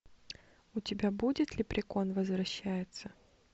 у тебя будет леприкон возвращается